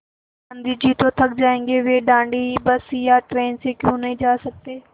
गाँधी जी तो थक जायेंगे वे दाँडी बस या ट्रेन से क्यों नहीं जा सकते